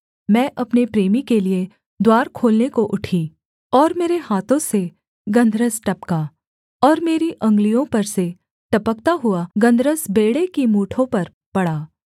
मैं अपने प्रेमी के लिये द्वार खोलने को उठी और मेरे हाथों से गन्धरस टपका और मेरी अंगुलियों पर से टपकता हुआ गन्धरस बेंड़े की मूठों पर पड़ा